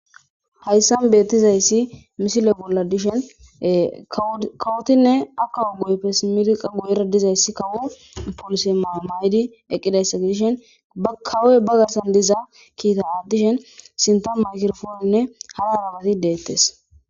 Hayssan beeththizayssi misille bolla dishen ee kawothinne ha kawo guyeppe simmidi qa guyeera dizayssi kawo polise maa7o mayidi eqqidaysa gidishin ba kawoy ba garssan diza kithaa aaththishin sinththan migraphoonenne hara harabathi deeththes.